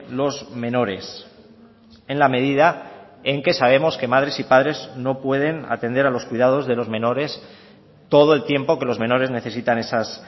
los menores en la medida en que sabemos que madres y padres no pueden atender a los cuidados de los menores todo el tiempo que los menores necesitan esas